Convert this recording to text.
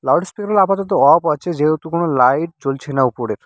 Loud speaker -গুলো আপাতত off আছে যেহেতু কোনও লাইট জ্বলছে না উপরের।